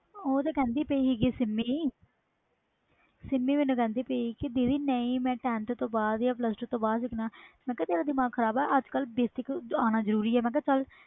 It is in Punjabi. ਓ ਤੇ ਕੇਦੀ ਪਈ ਸੀ ਸਿਮੀ ਮੈਨੂੰ ਕੇਦੀ ਪਈ ਸੀ ਦੀਦੀ ਨਹੀਂ ਮੈਂ tenth ਜਾ pulse two ਤੋਂ ਬਾਅਦ ਹੀ ਦੇਖਣਾ ਮੈਂ ਕਿਹਾ ਤੇਰਾ ਦਿਮਾਗ ਖਰਾਬ ਵ ਅਜ ਕਲ basic ਆਣਾ ਜਰੂਰੀ ਆ